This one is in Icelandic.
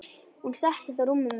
Hún settist á rúmið mitt.